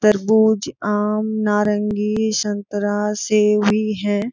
तरबूज आम नारंगी शनतरा सेब भी है।